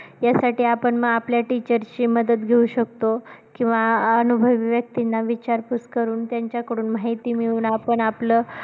यासाठी आपण मग आपल्या teacher ची मदत घेऊ शकतो किंवा अनुभवी व्यक्तींना विचार पुस करून त्यांच्या कडून माहिती मिळवून आपण आपलं